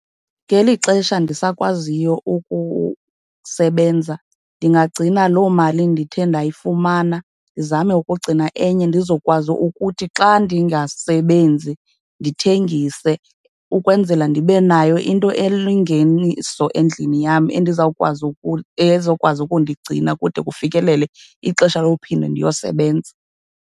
Ngeli xesha ndisakwaziyo ukusebenza ndingagcina loo mali ndithe ndayifumana, ndizame ukugcina enye ndizokwazi ukuthi xa ndingasebenzi ndithengise, ukwenzela ndibe nayo into elingeniso endlini yam, endizawukwazi ezokwazi ukundigcina kude kufikelele ixesha lophinde ndiyosebenza.